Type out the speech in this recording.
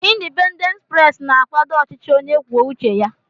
Indipendent pres na-akwàdó ọchịchị onye kwuo uche ya.